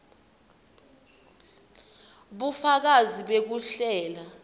bufakazi bekuhlela